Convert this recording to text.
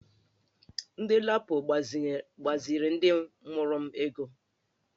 Ndị LAPO gbaziri ndị mụrụ m ego